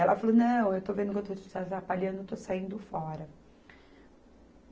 Ela falou, não, eu estou vendo que eu estou te atrapalhando, eu estou saindo fora.